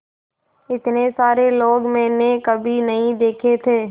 इतने सारे लोग मैंने कभी नहीं देखे थे